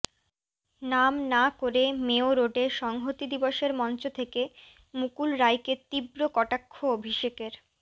নাম না করে মেয়ো রোডে সংহতি দিবসের মঞ্চ থেকে মুকুল রায়কে তীব্র কটাক্ষ অভিষেকের